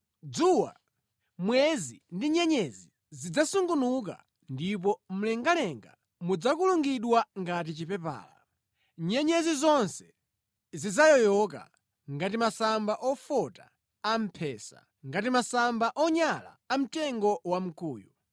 Dzuwa, mwezi ndi nyenyezi zidzasungunuka ndipo mlengalenga mudzakulungidwa ngati chipepala; nyenyezi zonse zidzayoyoka ngati masamba ofota a mphesa, ngati masamba onyala a mtengo wa mkuyu.